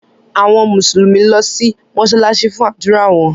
Àwọn Mùsùlùmí lọ si mósálásí fun ádùra wọn.